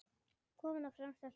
Kominn á fremsta hlunn.